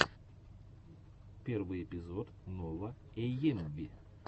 первый эпизод нова эйэмви